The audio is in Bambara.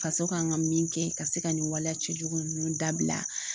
Faso kan ka min kɛ ka se ka nin waleya cɛjugu ninnu dabila